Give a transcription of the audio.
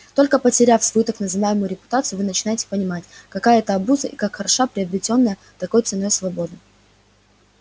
только потеряв свою так называемую репутацию вы начинаете понимать какая это обуза и как хороша приобретённая такой ценой свобода